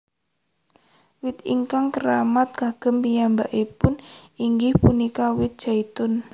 Wit ingkang keramat kagem piyambakipun inggih punika wit zaitun